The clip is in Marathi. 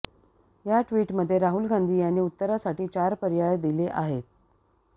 या ट्वीटमध्ये राहुल गांधी यांनी उत्तरासाठी चार पर्याय दिले आहेत